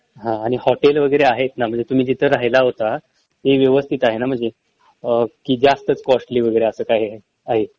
हा आणि हॉटेल वगैरे आहेत ना म्हंजे तुम्ही जिथं राहिला होता ते व्यवस्थित आहे ना म्हंजे कि जास्तच कॉस्टली वगैरे असं काही आहे